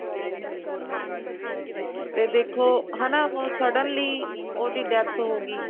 ਤੇ ਦੇਖੋ ਹਨਾ suddenly ਉਹਦੀ death ਹੋ ਗਈ